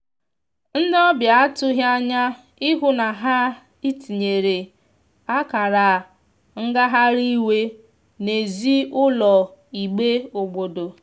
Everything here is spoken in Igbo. ndi ọbia atughi anya ịhụ na ha itiyere akara ngahari iwe n'ezi ụlọ igbe obodo.